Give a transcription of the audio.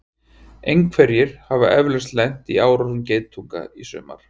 einhverjir hafa eflaust lent í árásum geitunga á sumrin